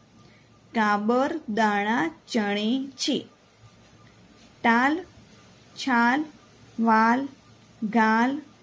કાબર દાણા ચણે છે તાલ છાલ વાલ ગાલ